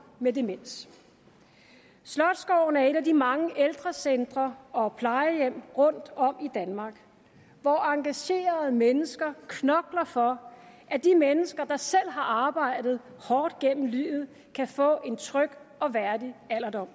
med demens slotsgården er et af de mange ældrecentre og plejehjem rundtom i danmark hvor engagerede mennesker knokler for at de mennesker der selv har arbejdet hårdt gennem livet kan få en tryg og værdig alderdom